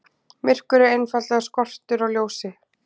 Myrkur er einfaldlega skortur á ljósi.